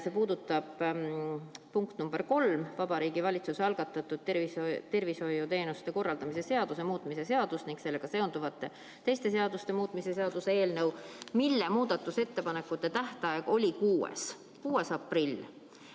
See puudutab punkti nr 3, Vabariigi Valitsuse algatatud tervishoiuteenuste korraldamise seaduse muutmise ning sellega seonduvalt teiste seaduste muutmise seaduse eelnõu, mille muudatusettepanekute tähtaeg oli 6. aprill.